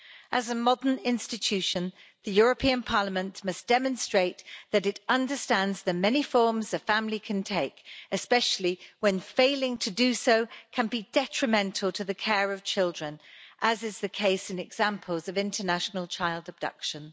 As a modern institution, the European Parliament must demonstrate that it understands the many forms a family can take, especially when failing to do so can be detrimental to the care of children, as is the case in examples of international child abduction.